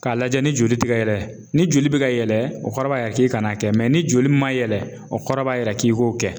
K'a lajɛ ni joli tɛ kɛ yɛlɛ ni joli bɛ ka yɛlɛ o kɔrɔ b'a yira k'i kan'a kɛ ni joli man yɛlɛ o kɔrɔ b'a yira k'i k'o kɛ